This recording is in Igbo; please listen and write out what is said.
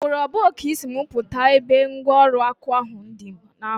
Ugboro abụọ ka Ị si m pụta ebe ngwọrụ ọkwa nka ndi ahụ nọ.